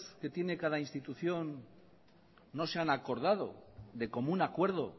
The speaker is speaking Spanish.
que tiene cada institución no se han acordado de común acuerdo